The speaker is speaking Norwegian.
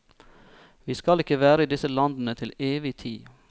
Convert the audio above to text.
Vi skal ikke være i disse landene til evig tid.